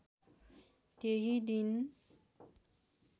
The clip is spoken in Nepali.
त्यही दिन